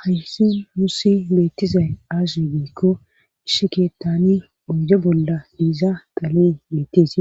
hayssi nuussi beettizay aaze giikko issi keettani oyde bolla diiza xalee beetteesi